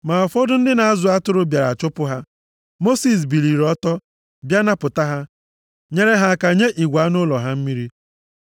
Ma ụfọdụ ndị na-azụ atụrụ bịara chụpụ ha. Mosis biliri ọtọ, bịa napụta ha, nyere ha aka nye igwe anụ ụlọ ha mmiri.